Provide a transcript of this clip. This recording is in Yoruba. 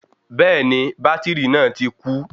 Bẹ́ẹ̀ni bátìrì náà ti kú